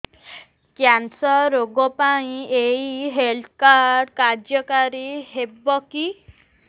cancer ରୋଗ ପାଇଁ ଏଇ ହେଲ୍ଥ କାର୍ଡ କାର୍ଯ୍ୟକାରି ହେବ କି